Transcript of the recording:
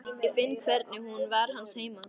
Ég finn hvernig hún var hans heima.